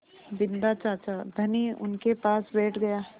बिन्दा चाचा धनी उनके पास बैठ गया